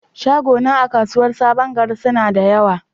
Shaguna a kasuwar saɓon gari suna da ƴawa.